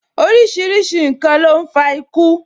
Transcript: Orísìírísìí n kan ló ń fa iku